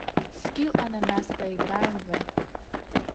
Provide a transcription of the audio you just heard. скилл ананас поиграем в